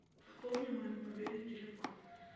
пополни мой мобильный телефон